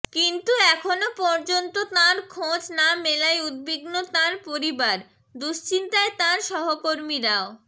কিন্তু এখনও পর্যন্ত তাঁর খোঁজ না মেলায় উদ্বিগ্ন তাঁর পরিবার দুশ্চিন্তায় তাঁর সহকর্মীরাও